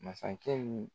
Masakɛ ni